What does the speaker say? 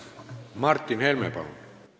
Martin Helme, palun!